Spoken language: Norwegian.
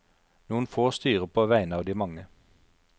Noen få styrer på vegne av de mange.